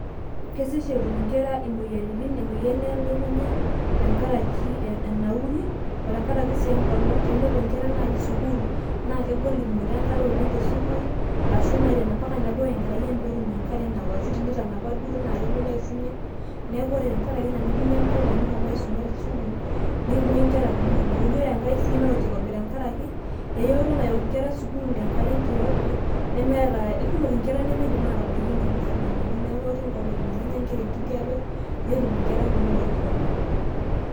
kesesh etum inkera imoyiaritin, emoyian elukunya, tenkaraki enauri, otenkaraki sii enkolong',tenepuo nkera naaji sukuul, naa kegol tum nkera enkare te sukuul ashu mpaka nebau enkerai ang',pee etum enare naok, ashu tenitanapa duoo naa kelo neishunye, neeku ore tenkaraki ina nikinyia enkolong' naa nishomo aisuma teskuul nemuoyu nkera lukny, ore enkae sii na orkirobi, tenkaraki eyooto nayok nkera sukuul tenkata enkirobi naa ikumok inkera nemebaiki ifulanani, neeku ketum nkra kumok olkirobi.